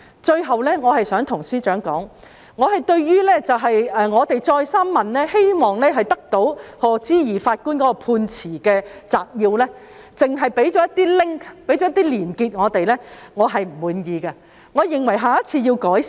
最後，我想對司長指出，我們多次要求取得賀知義法官的判詞摘要，但只獲提供連結，我對此表示不滿意，我認為下次要作出改善。